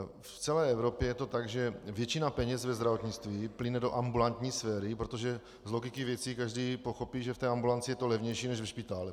V celé Evropě je to tak, že většina peněz ve zdravotnictví plyne do ambulantní sféry, protože z logiky věci každý pochopí, že v té ambulanci je to levnější než ve špitále.